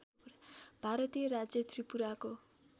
भारतीय राज्य त्रिपुराको